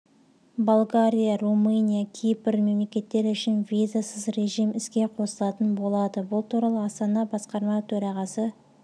болгария румыния кипр мемлекеттері үшін визасыз режим іске қосылатын болады бұл туралы астана басқарма бөрағасы